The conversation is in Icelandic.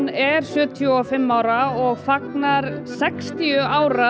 er sjötíu og fimm ára og fagnar sextíu ára